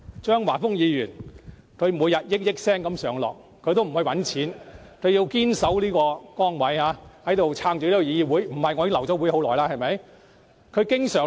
張華峰議員每天數以億元上落，但他不去賺錢，堅決謹守崗位，支撐議會，否則早就流會了，對不對？